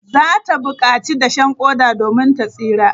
Za ta bukaci dashen koda domin ta tsira.